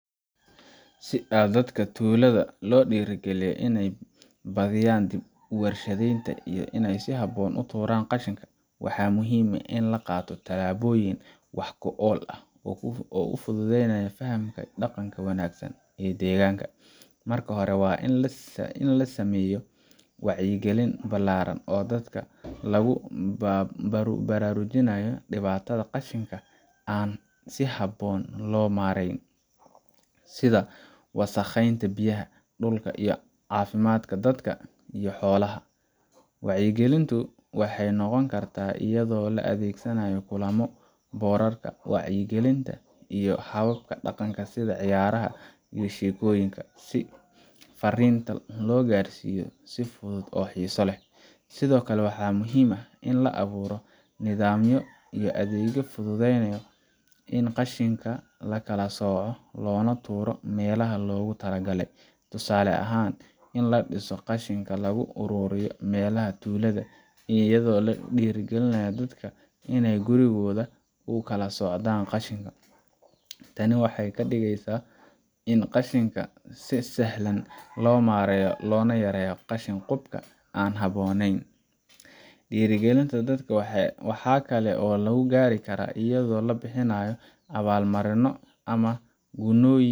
Si dadka tuulada loo dhiirigaliyo inay badiyaan dhib u warshadeynta oo ay si haboon u tuuraan qashinka, waxaa muhiim ah in la qaato tallaabooyin wax ku ool ah oo fududeynaya fahamka iyo dhaqanka wanaagsan ee deegaanka. Marka hore, waa in la sameeyo wacyigelin ballaaran oo dadka lagu baraarujiyo dhibaatada qashinka aan si habboon loo maareynin, sida wasakheynta biyaha, dhulka, iyo caafimaadka dadka iyo xoolaha. Wacyigelintu waxay noqon kartaa iyadoo la adeegsanayo kulamo, boorarka wacyigelinta, iyo hababka dhaqanka sida ciyaaraha iyo sheekooyinka, si fariinta loo gaarsiiyo si fudud oo xiiso leh. Sidoo kale, waxaa muhiim ah in la abuuro nidaamyo iyo adeegyo fududeynaya in qashinka la kala sooco loona tuuro meelaha loogu talagalay, tusaale ahaan in la dhiso qashinka lagu ururiyo meelaha tuulada, iyo in la dhiirrigeliyo dadka inay gurigooda ku kala soocaan qashinka. Tani waxay ka dhigeysaa in qashinka si sahlan loo maareeyo, loona yareeyo qashin qubka aan habboonayn. Dhiirigelinta dadka waxaa kale oo lagu gaari karaa iyadoo la bixiyo abaalmarino ama gunnooyin